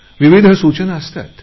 विविध सूचना असतात